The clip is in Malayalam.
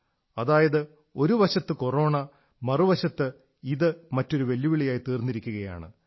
അതായത് ഒരു വശത്ത് കൊറോണ മറുവശത്ത് ഇത് മറ്റൊരു വെല്ലുവിളിയായി തീർന്നിരിക്കയാണ്